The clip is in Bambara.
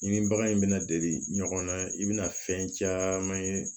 I ni bagan in bɛna deli ɲɔgɔn na i bɛna fɛn caman ye